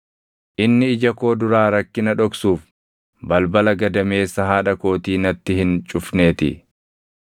Inni ija koo duraa rakkina dhoksuuf, balbala gadameessa haadha kootii natti hin cufneetii.